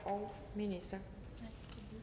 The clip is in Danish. og